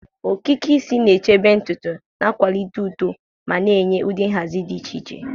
Okike isi igbe na-echebe ntutu, na-akwalite uto, ma na-enye ụdị nhazi di iche iche.